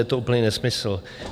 Je to úplný nesmysl.